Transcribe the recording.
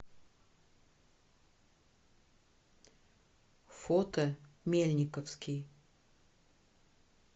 фото мельниковский